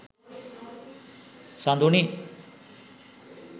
saduni